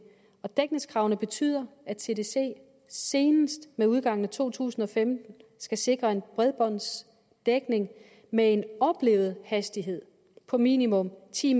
og dækningskravene betyder at tdc senest med udgangen af to tusind og femten skal sikre en bredbåndsdækning med en oplevet hastighed på minimum ti